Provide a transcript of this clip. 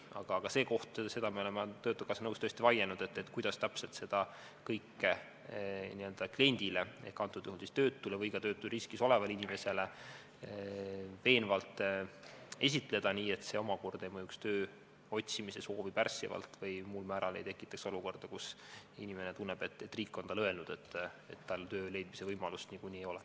Aga selle üle me oleme töötukassa nõukogus tõesti vaielnud, kuidas täpselt seda kõike kliendile ehk antud juhul töötule või ka töötusriskis olevale inimesele veenvalt esitada, et see omakorda ei mõjuks töö otsimisele pärssivalt või ei tekitaks olukorda, kus inimene tunneb, et riik on talle öelnud, et tal töö leidmise võimalust nagunii ei ole.